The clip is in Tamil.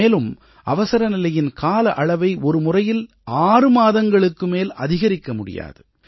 மேலும் அவசரநிலையின் கால அளவை ஒரு முறையில் 6 மாதங்களுக்கு மேல் அதிகரிக்க முடியாது